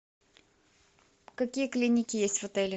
какие клиники есть в отеле